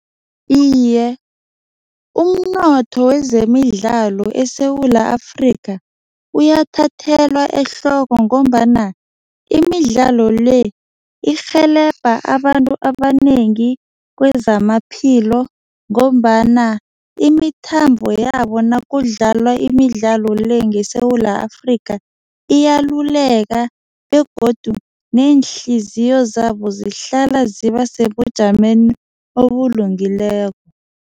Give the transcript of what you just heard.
Iye, umnotho wezemidlalo eSewula Afrika uyamthathelwa ehloko ngombana imidlalo le, irhelebha abantu abanengi kwezamaphilo ngombana imithambo yabo nakudlalwa imidlalo le ngeSewula Afrika, iyaluleka begodu neehliziyo zabo zihlala zisebujameni obulungileko.